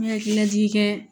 N hakili lajigikɛ